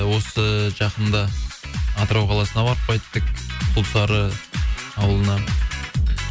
осы жақында атырау қаласына барып қайттык құлсары ауылына